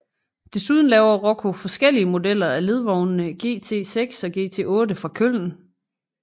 Desuden laver Roco forskellige modeller af ledvognene GT6 og GT8 fra Köln